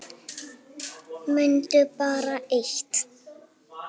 Mundu bara eitt.